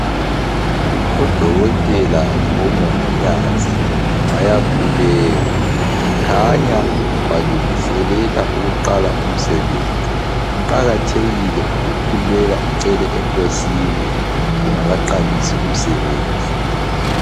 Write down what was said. Udokotela labomongikazi bayakhuleka, kukhanya balungiselela ukuqala umsebenzi. Kuqakathekile ukukhuleka ucela enkosini ungakaqalisi umsebenzi.